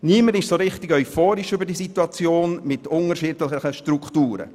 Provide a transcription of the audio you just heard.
Niemand ist so richtig euphorisch wegen dieser Situation der unterschiedlichen Strukturen.